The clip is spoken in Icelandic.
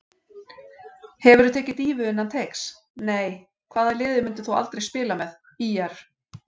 Hefurðu tekið dýfu innan teigs: Nei Hvaða liði myndir þú aldrei spila með: ÍR